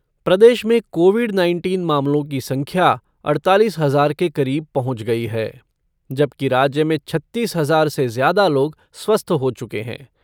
प्रदेश में Covid nineteen मामलों की संख्या अड़तालीस हज़ार के करीब पहुंच गई है जबकि राज्य में छत्तीस हज़ार से ज़्यादा लोग स्वस्थ हो चुके हैं।